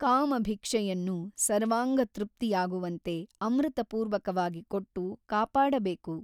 ಕಾಮಭಿಕ್ಷೆಯನ್ನು ಸರ್ವಾಂಗತೃಪ್ತಿಯಾಗುವಂತೆ ಅಮೃತಪೂರ್ವಕವಾಗಿ ಕೊಟ್ಟು ಕಾಪಾಡಬೇಕು.